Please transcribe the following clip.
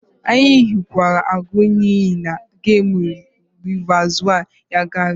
Anyị hụkwara agụ iyi na gemụ rizavụ Yankari.